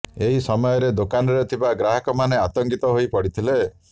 ଏହି ସମୟରେ ଦୋକାନରେ ଥିବା ଗ୍ରାହକମାନେ ଆତଙ୍କିତ ହୋଇ ପଡ଼ିଥିଲେ